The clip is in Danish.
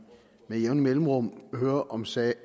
med jævne mellemrum hører om sager